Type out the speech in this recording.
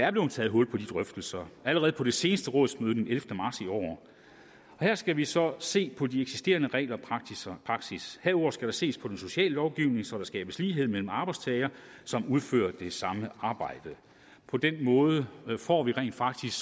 er blevet taget hul på de drøftelser allerede på det seneste rådsmøde den ellevte marts i år her skal vi så se på de eksisterende regler og praksis herudover skal der ses på den sociale lovgivning så der skabes lighed mellem arbejdstagere som udfører det samme arbejde på den måde får vi rent faktisk